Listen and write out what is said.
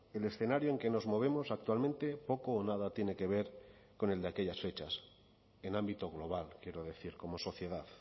el escenario en que nos movemos actualmente poco o nada tiene que ver con el de aquellas fechas en ámbito global quiero decir como sociedad